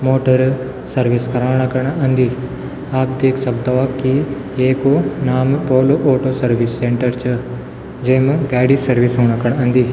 Motor service कराणा कण अन्दी आप देख सकदो वा की एकू नाम पोलो ऑटो सर्विस सेन्टर च जैम गाडी सर्विस हूणा खण अंदि।